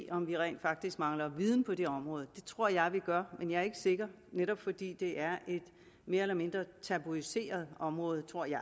om vi rent faktisk mangler viden på det område det tror jeg at vi gør men jeg er ikke sikker netop fordi det er et mere eller mindre tabuiseret område tror jeg